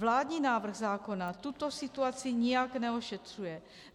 Vládní návrh zákona tuto situaci nijak neošetřuje.